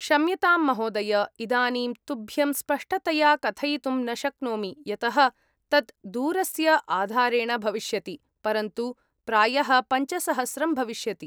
क्षम्यतां महोदय, इदानीं तुभ्यं स्पष्टतया कथयितुं न शक्नोमि, यतः तत् दूरस्य आधारेण भविष्यति। परन्तु प्रायः पञ्चसहस्रं भविष्यति।